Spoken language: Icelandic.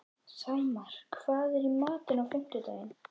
Sæmar, hvað er í matinn á fimmtudaginn?